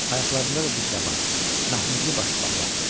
Ayaqlarında da dik daban, məhmizli başmaqlar.